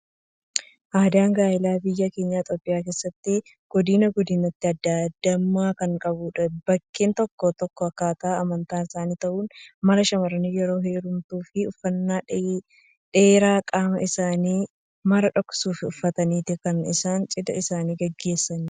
Aadaan gaa'elaa biyya keenya Itoophiyaa keessatti godinaa godinatti addaa addummaa kan qabudha. Bakkee tokko tokkotti, akkataa amantaanis ta'uu malaa shamaarri yeroo heerumtu uffannaa dheeraa qaama isaanii mara dhoksuuf uffataniitu kan isaan cidha isaanii gaggeessan.